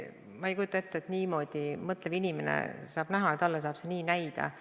Ma ei kujuta ette, et mõtlev inimene saab seda niimoodi näha, et talle saab see nii näida.